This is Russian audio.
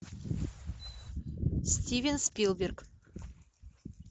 стивен спилберг